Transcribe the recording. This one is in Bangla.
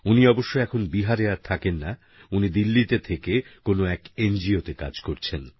উনি অবশ্য এখন বিহারে আর থাকেন না উনি দিল্লিতে থেকে কোন এক এনজিও তে কাজ করছেন